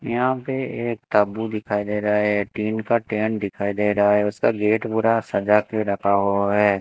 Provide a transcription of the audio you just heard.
यहां पे एक तब्बू दिखाई दे रहा है टीन का टेंट दिखाई दे रहा है उसका गेट पूरा सजा के रखा हुआ है।